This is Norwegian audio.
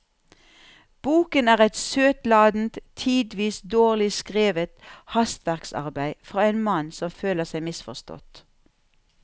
Boken er et søtladent, tidvis dårlig skrevet hastverksarbeid fra en mann som føler seg misforstått.